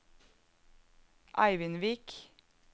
Eivindvik